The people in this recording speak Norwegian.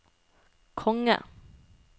konge